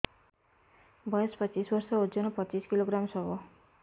ବୟସ ପଚିଶ ବର୍ଷ ଓଜନ ପଚିଶ କିଲୋଗ୍ରାମସ ହବ